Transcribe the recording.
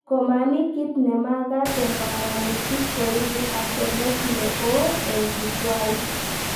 Komamii kit nemagat eng banganutik koibu asenet neo eng Jukwait